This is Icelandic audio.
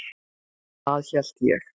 Það hélt ég.